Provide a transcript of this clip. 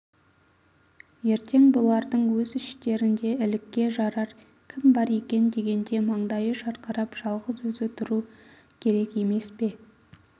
ертең бұлардың өз іштерінде ілікке жарар кім бар екен дегенде маңдайы жарқырап жалғыз өзі тұруы керек емес пе